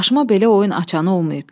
Başıma belə oyun açanı olmayıb.